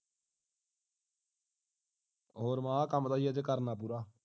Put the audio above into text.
ਹੋਰ ਮੈਂ ਕਿਹਾ ਸੀ ਅੱਜ ਆ ਕੰਮ ਤਾਂ ਕਰਨਾ ਪੂਰਾ